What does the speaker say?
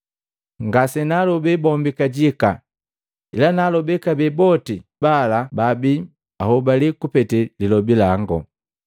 “Ngasenaalobe bombi kajika, ila naalobe kabee boti balababi nhobaliya kupete lilobi lango.